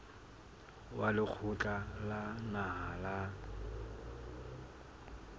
wa lekgotla la naha la